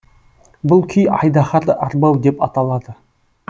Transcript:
бұл күй айдаһарды арбау деп аталады